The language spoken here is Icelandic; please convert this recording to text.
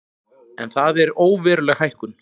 En það er óveruleg hækkun